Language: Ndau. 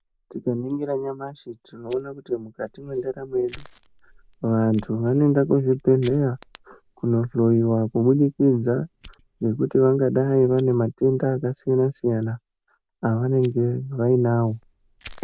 Tikaningira nyamashi tinoona kuti mukati mendaramo yedu vantu vanoenda kuzvibhehlera kunohloiwa kubudikidza nekuti vangadai vane matenda akasiyana siyana avanenge vainawo.